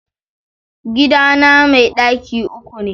Gidana mai ɗaki uku ne